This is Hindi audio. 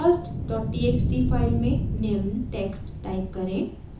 first dot txt फाइल में निम्न टेक्स्ट टाइप करें: